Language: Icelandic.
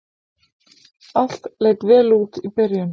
Allt leit vel út í byrjun